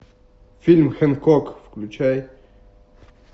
фильм хэнкок включай